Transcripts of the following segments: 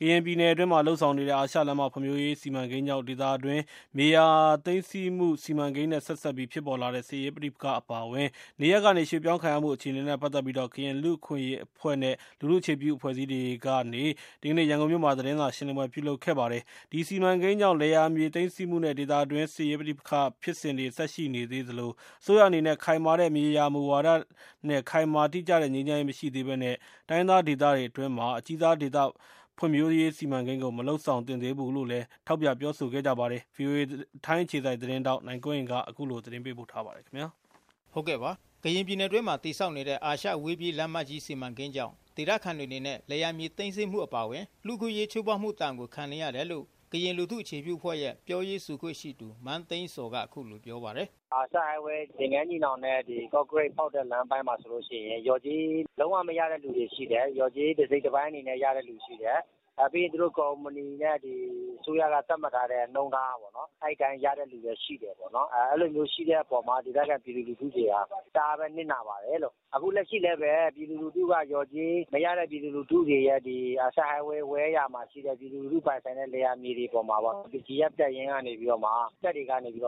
ကရင်ပြည်နယ်အတွင်းမှာ လုပ်ဆောင်နေတဲ့ အာရှလမ်းမ ဖွံ့ဖြိုးရေး စီမံကိန်းကြောင့် ဒေသအတွင်းမြေယာသိမ်း ဆည်းမှု စီမံကိန်းနဲ့ ဆက်စပ်ပြီး ဖြစ်ပေါ် လာသော စစ်ရေးပဋိပက္ခတွေ အပါအဝင် နေရပ် ကနေ ရွှေ့ပြောင်းခံရမှု အခြေအနေနဲ့ ပတ်သက်ပြီး ကရင်လူ့အခွင့်အရေးအဖွဲ့ နဲ့လူထုအခြေပြု အဖွဲ့အစည်းတွေကနေ ဒီကနေ့ရန်ကုန်မြို့ မှာ သတင်းစာရှင်းလင်း ပွဲပြုလုပ်ခဲ့တာပါ။ ဒီစီမံကိန်းတွေကြောင့် လယ်ယာမြေသိမ်းဆည်းမှုနဲ့ ဒေသအတွင်းစစ်ရေး ပဋိပက္ခဖြစ်စဉ်တွေ ဆက်လက် ရှိနေသေးသလို အစိုးရအနေနဲ့ ခိုင်မာတဲ့ မြေယာ မူဝါဒနဲ့ ခိုင်မာတိကျတဲ့ ငြိမ်းချမ်းရေး မရှိသေးဘဲနဲ့ တိုင်းရင်းသားဒေသ အတွင်းမှာ အကြီးစားဒေသ ဖွံ့ဖြိုးရေးစီမံကိန်းကို မလုပ်ဆောင်သင့်သေးဘူးလို့ လဲ ထောက်ပြပြော ဆိုနေကြပါတယ်။ ဗွီအိုအေ ထိုင်းအခြေစိုက်သတင်းထောက် နိုင်ကွန်းအိန်ကနေ အခုလိုသတင်းပေးပို့ထားပါတယ်။ ကရင်ပြည်နယ်အတွင်း တည်ဆောက်နေတဲ့ အာရှအဝေးပြေးလမ်းမကြီး စီမံကိန်းကြောင့် ဒေသခံတွေအနေနဲ့ လယ်ယာမြေသိမ်းဆည်းမှုအပါအဝင် လူ့အခွင့်အရေး ချိုးဖေါက်မှုဒဏ်ကို ခံနေရတယ်လို့ ကရင်လူထုအခြေပြု အဖွဲ့ရဲ့ ပြောရေးဆိုခွင့်ရှိသူ မန်းသိန်းဇော်က အခုလိုပြောပါတယ်။ " အာရှအဝေးပြေးလမ်းမကြီး သင်္ဃန်းညီနောင်နဲ့ ကော့ကရိတ်ဖောက်တဲ့ လမ်းပိုင်းမှာဆိုရင် လျော်ကြေး လုံးဝ မရတဲ့သူတွေရှိတယ်။ လျော်ကြေး တစိတ်တပိုင်းအနေနဲ့ ရတဲ့သူတွေရှိတယ်။ နောက်ပြီး ကုမ္ပဏီနဲ့ အစိုးရက သတ်မှတ်ထားတဲ့ နှုန်းထားပေါ့နော်။ အဲ့အတိုင်း ရတဲ့သူလည်းရှိတယ်ပေါ့နော်။ အဲ့လိုမျိုး ရှိတဲ့အပေါ်မှာ ဒေသခံပြည်သူလူထုတွေက တအားပဲနစ်နာပါတယ်လို့။ အခုလက်ရှိလည်းပဲ လျော်ကြေးမရတဲ့ပြည်သူလူထုတွေရယ်၊ အာရှအဝေးပြေး လမ်းမကြီး ဝဲ ယာမှာရှိတဲ့ ပြည်သူလူထု ပိုင်ဆိုင်တဲ့ လယ်ယာမြေတွေပေါ်မှာ BGF တပ်ရင်းကနေပြီးတော့မှ တပ်တွေကနေ တပ်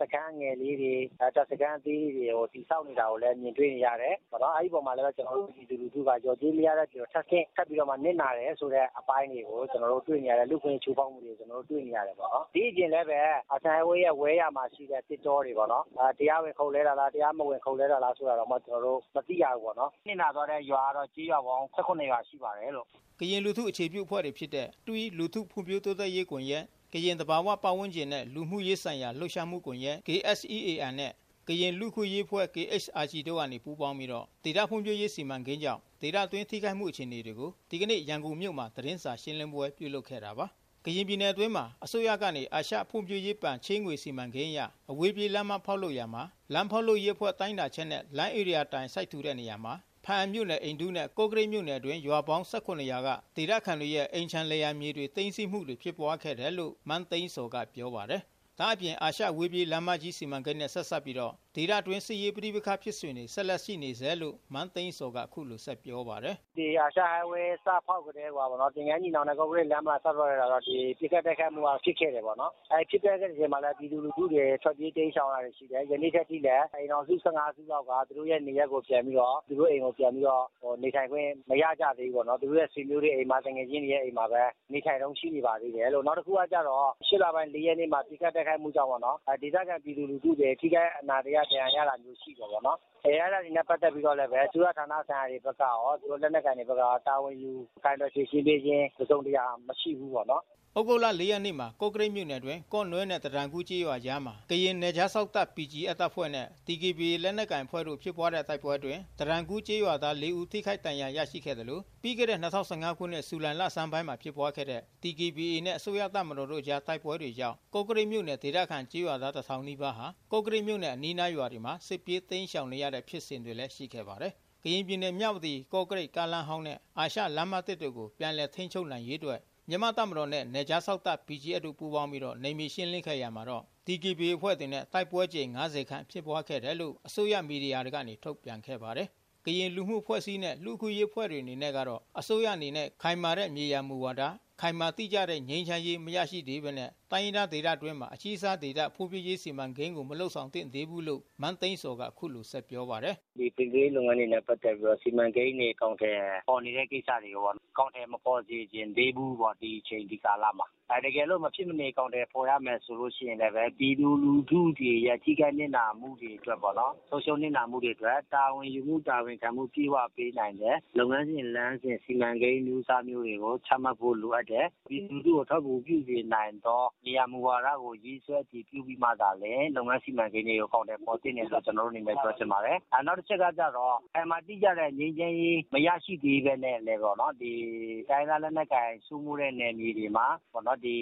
စခန်းငယ်လေးတွေ တပ်စခန်းသေးလေးတွေ ကို တည်ဆောက်နေတာကိုလည်း မြင်တွေ့နေရတယ်။ အဲ့ဒီ့အပေါ်မှာ ကျနော်တို့ပြည်သူလူထုက လျော်ကြေးမရတဲ့အပြင် ထပ်ဆင့် ထပ်ပြီးနစ်နာတယ်ဆိုတဲ့ အပိုင်းတွေကို တွေ့နေရတယ်။ လူ့အခွင့်အရေး ချိုးဖောက်မှုတွေကို ကျနော်တို့ တွေ့နေရတယ်ပေါ့နော်။ ဒီ့အပြင်လည်းပဲ အာရှအဝေးပြေးလမ်းမကြီး ဝဲ.ယာမှာ ရှိတဲ့သစ်တောတွေပေါ့နော် တရားဝင် ခုတ်လှဲတာလား တရားမဝင်ခုတ်လှဲတာလားဆိုတာတောင် ကျနော်တို့ မသိရဘူးပေါ့နော်။ နစ်နာသွားတဲ့ရွာကတော့ ကျေးရွာပေါင်း ၁၇ ရွာရှိပါတယ်လို့။ " ကရင်လူထုအခြေပြုအဖွဲ့တွေဖြစ်တဲ့ THWEE လူထုဖွံ့ဖြိုးတိုးတက်ရေးကွန်ရက်၊ ကရင်သဘာဝပတ်ဝန်းကျင်နှင့် လူမှု ရေးဆိုင်ရာလှုပ်ရှားမှုကွန်ရက် (KSEAN)နဲ့ ကရင်လူ့အခွင့်အရေးအဖွဲ့ (KHRG) တို့ကနေပူးပေါင်းပြီး ဒေသဖွံ့ဖြိုးရေး စီမံကိန်းကြောင့် ဒေသအတွင်း ထိခိုက်မှု အခြေအနေတွေကိုဒီကနေ့ ရန်ကုန်မြို့မှာ သတင်းရှင်းလင်းပွဲပြုလုပ်ခဲ့တာပါ။ ကရင်ပြည်နယ်အတွင်းမှာအစိုးရကနေ အရှဖွံ့ဖြိုးရေးဘဏ် ချေးငွေစီမံကိန်းအရ အဝေးပြေး လမ်းမဖောက်လုပ်ရာမှာ လမ်းဖောက်လုပ်ရေးအဖွဲ့တိုင်းတာချက်နဲ့ လမ်းဧရိယာတိုင် စိုက်ထူတဲ့နေရာမှာ ဖားအံမြို့နယ် အိန္ဒုနဲ့ ကော့ကရိတ် မြို့နယ် တွင်း ရွာပေါင်း(၁၇)ရွာက ဒေသခံတွေရဲ့ အိမ်ခြံလယ်ယာမြေတွေ သိမ်းဆည်းမှု တွေဖြစ်ပွါး ခဲ့တယ်လို့လဲ မန်းသိန်းဇော်ကပြောပါတယ်။ ဒါ့အပြင် အာရှအဝေးပြေး လမ်းမကြီးစီမံကိန်းနဲ့ ဆက်စပ်ပြီး ဒေသအတွင်း စစ်ရေး ပဋိပက္ခဖြစ်စဉ်တွေ ဆက်လက်ရှိနေဆဲလို့ မန်းသိန်းဇော်က အခုလို ဆက်ပြောပါတယ်။ " ဒီ အာရှအဝေးပြေးလမ်းမကြီး စဖောက်ကတည်းကိုက သင်္ဃန်းညီနောင် နဲ့ ကော့ကရိတ် စဖောက်ကတည်းက ပစ်ခတ် တိုက်ခိုက်မှုက ဖြစ် ခဲ့တယ်ပေါ့နော်။ ဖြစ်ပျက်တဲ့ အချိန်မှာလည်းပဲ ပြည်သူလူထုတွေ ထွက်ပြေး တိမ်းရှောင်ရတာတွေရှိတယ်။ ယနေ့ထက်ထိလည်း အိမ်ထောင်စု ၁၅စုလောက်က သူတို့ရဲ့နေရပ်ကို သူတို့အိမ်ကို ပြန်ပြီးတော့ နေထိုင်ခွင့်မရကြဘူး။ သူတို့ရဲ့ဆွေမျိုးတွေအိမ်မှာ သူငယ်ချင်းတွေရဲ့အိမ်မှာ ပဲ နေထိုင်တုန်း ရှိနေပါသေးတယ်လို့။ နောက်တခုကကျတော့ ၈လပိုင်း ၄ရက်နေ့မှာ ပစ်ခတ် တိုက်ခိုက်မှုကြောင့်ပေါ့နော် ဒေသခံပြည်သူလူထု ထိခိုက်နစ်နာ အနာတရ ဒဏ်ရာရမှုရှိတယ်ပေါ့။ အဲ့တာတွေနဲ့ပတ်သက်ပြီးတော့လည်း အစိုးရဌာနတွေဘက်က ရော လက်နက်ကိုင်တွေဘက်ကရော တာဝန်ယူဖြေရှင်းပေးခြင်း တစုံတရာ မရှိဘူးပေါ့နော်။ " သြဂုတ်လ(၄)ရက်နေ့မှာ ကော့ကရိတ်မြို့နယ် အတွင်း ကော့နွဲ့ နဲ့ တတန်ကူးကျေးရွာ အကြားမှာ ကရင်နယ်ခြားစောင့် တပ် BGFတပ်ဖွဲ့နဲ့ DKBA ကရင်လက်နက်ကိုင် အဖွဲ့တို့ဖြစ်ပွါးခဲ့တဲ့ တိုက်ပွဲအတွင်း တတန်ကူးကျေးရွာ သား(၄)ဦး ထိခိုက်ဒဏ်ရာ ရရှိခဲ့သလို ပြီးခဲ့တဲ့(၂၀၁၅) ခုနှစ် ဇူလိုင် လဆန်းပိုင်းကဖြစ်ပွါးခဲ့တဲ့ (DKBA)နဲ့ အစိုးရတပ်မတော်တို့ အကြား တိုက်ပွဲကြောင့် ကော့ကရိတ်မြို့နယ် ဒေသခံကျေးရွာသား(၁၀၀၀)နီးပါးဟာ ကော့ကရိတ်မြို့နဲ့ အနီးအနား ရွာတွေမှာ စစ်ပြေး တိမ်းရှောင်နေရတဲ့ဖြစ်စဉ်တွေလဲ ရှိခဲ့ပါတယ်။ ကရင်ပြည်နယ် မြဝတီ-ကော့ကရိတ် ကားလမ်းဟောင်းနဲ့ အာရှလမ်းသစ် တို့ကို ပြန်လည် ထိန်းချုပ်နိုင်ရေးအတွက် မြန်မာ့တပ်မတော်နှင့် နယ်ခြားစောင့်တပ်-BGF တို့ ပူးပေါင်းပြီး နယ်မြေရှင်းလင်းခဲ့ရာမှာတော့ ဒီကေဘီအေအဖွဲ့ နဲ့ တိုက်ပွဲအကြိမ်(၅၀)ခန့်ဖြစ်ပွါးခဲ့တယ်လို့ အစိုးရမီဒီယာတွေကနေ ထုတ်ပြန်ခဲ့ပါတယ်။ ကရင်လူမှုအဖွဲ့အစည်းနဲ့ လူ့အခွင့်အရေးအဖွဲ့တွေ အနေနဲ့ကတော့ အစိုးရအနေနဲ့ ခိုင်မာတဲ့မြေယာမူဝါဒနဲ့ ခိုင်မာ တိကျတဲ့ငြိမ်းချမ်းရေး မရရှိသေးဘဲနဲ့ တိုင်းရင်းသားဒေသအတွင်းမှာ အကြီးစားဒေသဖွံ့ဖြိုးရေးစီမံကိန်းကိုမလုပ်ဆောင်သင့်သေးဘူးလို့ မန်းသိန်းဇော်က အခုလိုဆက်ပြောပါတယ်။ " ဖွံ့ဖြိုးရေးနဲ့ပတ်သက်ပြီးတော့ စီမံကိန်းတွေ အကောင်အထည်ဖော်နေတဲ့ ကိစ္စတွေကို အကောင်အထည်မဖော်စေချင်သေးဘူးပေါ့နော်။ ဒီအချိန် ဒီကာလမှာ။ တကယ်လို့ မဖြစ်မနေ အကောင်အထည်ဖော်ရမယ် ဆိုရင်လည်း ပြည်သူလူထုတွေ ရဲ့ ထိခိုက်နစ်နာမှု တွေ ဆုံးရှုံးနစ်နာမှုတွေအတွက် တာဝန်ယူမှု တာဝန်ခံမှု အပြည့်အဝ ပေးနိုင်မယ့် လုပ်ငန်းစဉ် လမ်းစဉ် စီမံကိန်းအမျိုးအစားမျိုးတွေကို ချမှတ်ဖို့လိုအပ်တယ်။ ပြည်သူလူထုကို အထောက်အကူပြုစေနိုင်သော မြေယာ မူဝါဒကို ရေးဆွဲ အတည်ပြုပြီးမှသာလျှင် လုပ်ငန်းစီမံကိန်းတွေကို အကောင်အထည်ဖော်သင့်တယ်လို့ ကျနော်တို့ အနေနဲ့ ပြောချင်ပါတယ်။ နောက်တချက် ကတော့ ခိုင်မာတိကျတဲ့ငြိမ်းချမ်းရေး မရရှိသေးပဲနဲ့ တိုင်းရင်းသားလက်နက်ကိုင်စိုးမိုးတဲ့နယ်မြေတွေမှာ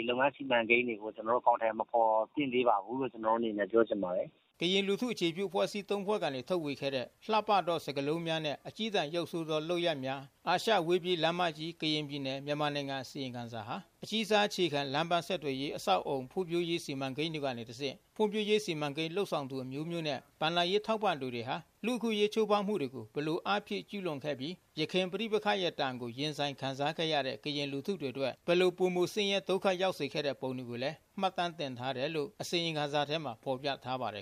လုပ်ငန်းစီမံကိန်းတွေကို အကောင်အထည်မဖော်သင့်သေးပါဘူးလို့ ကျနော်တို့အနေနဲ့ ပြောချင်ပါတယ်။" ကရင်လူထုအခြေပြုအဖွဲ့အစည်း(၃)ဖွဲ့ကနေ ထုတ်ဝေခဲ့တဲ့ လှပသော စကားလုံးများနှင့် အကျည်းတန်ရုပ်ဆိုးသောလုပ် ရပ်များ၊ အာရှအဝေးပြေး လမ်းမကြီး၊ကရင်ပြည်နယ်၊မြန်မာနိုင်ငံ”အစီရင်ခံစာဟာ အကြီးစား အခြေခံလမ်းပန်းဆက် သွယ်ရေးအဆောက်အအုံ ဖွံ့ဖြိုးရေးစီမံကိန်းတွေကနေ တစ်ဆင့် ဖွံ့ဖြိုးရေး စီမံကိန်းလုပ်ဆောင်သူအမျိုးမျိုးနှင့် ဘဏ္ဍာ ရေးထောက်ပံ့ သူတွေက လူ့အခွင့်အရေးချိုးဖေါက်မှုတွေကို ဘယ်လိုအားဖြည့် ကျူးလွန်ခဲ့ပြီး ယခင်ပဋိပက္ခရဲ့ဒဏ်ကို ရင်ဆိုင်ခံစားခဲ့ရတဲ့ ကရင်လူထုတွေအတွက် ဘယ်လို ပိုမိုဆင်းရဲဒုက္ခရောက်စေခဲ့ပုံတွေကို မှတ်တမ်းတင်ထားတယ် လို့အစီရင်ခံစာမှာဖေါ်ပြထားပါတယ်